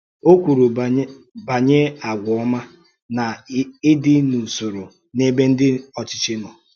Ó kwùrù bànyè àgwà ọ́mà na ìdí n’úsòrò n’èbè ndị ọ́chịchì nọ.